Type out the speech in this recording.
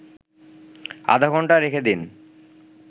আধাঘণ্টা রেখে দিন